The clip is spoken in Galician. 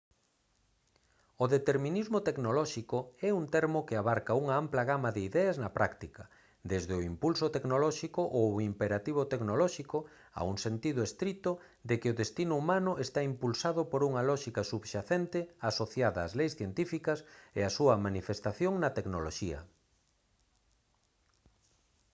o determinismo tecnolóxico é un termo que abarca unha ampla gama de ideas na práctica desde o impulso tecnolóxico ou o imperativo tecnolóxico a un sentido estrito de que o destino humano está impulsado por unha lóxica subxacente asociada ás leis científicas e a súa manifestación na tecnoloxía